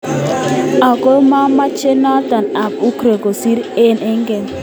Ako mamoche noto ab Ukrain kosir aenge en aenge.